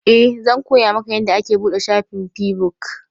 Eh, zan koya maka yanda ake buɗe shafin feabuk